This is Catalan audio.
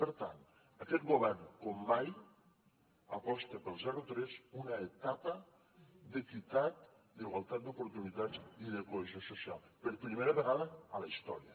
per tant aquest govern com mai aposta pel zero tres una etapa d’equitat d’igualtat d’oportunitats i de cohesió social per primera vegada a la història